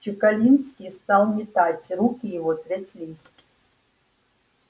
чекалинский стал метать руки его тряслись